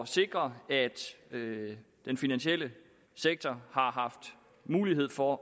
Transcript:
sikre at den finansielle sektor har haft mulighed for